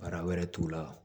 Baara wɛrɛ t'u la